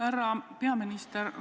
Härra peaminister!